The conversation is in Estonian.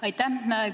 Aitäh!